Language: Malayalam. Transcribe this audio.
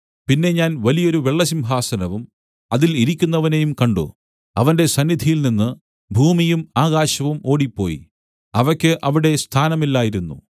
പിന്നെ ഞാൻ വലിയൊരു വെള്ള സിംഹാസനവും അതിൽ ഇരിക്കുന്നവനെയും കണ്ട് അവന്റെ സന്നിധിയിൽനിന്ന് ഭൂമിയും ആകാശവും ഓടിപ്പോയി അവയ്ക്ക് അവിടെ സ്ഥാനമില്ലായിരുന്നു